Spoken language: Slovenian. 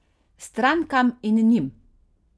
Strankam in njim.